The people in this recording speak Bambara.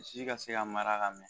Si ka se ka mara ka mɛɛn